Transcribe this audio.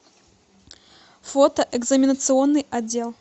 фото экзаменационный отдел